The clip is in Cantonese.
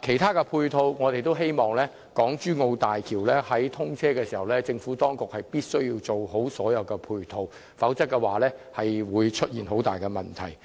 其他配套設施方面，我們也希望在港珠澳大橋通車時，政府能已完成建設所有配套設施，否則便會出現很大問題。